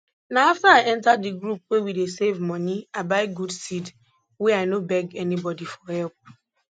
na afta i enta di group wey we dey save money i buy good seed wey i no beg anybody for help